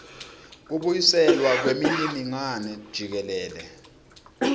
kubuyiselwa kwemininingwane jikelele